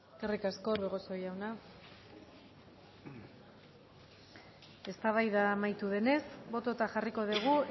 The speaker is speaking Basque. eskerrik asko orbegozo jauna eztabaida amaitu denez bototan jarriko dugu